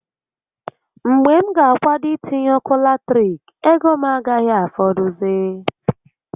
Mgbe m ga akwado itinye ọkụ latirik, ego m agaghi afọdụzị